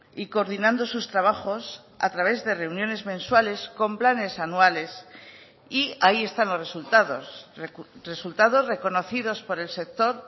y coordinando sus trabajos a través de reuniones mensuales con planes anuales y ahí están los resultados resultados reconocidos por el sector